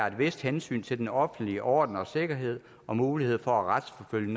et vist hensyn til den offentlige orden og sikkerhed og mulighed for at retsforfølge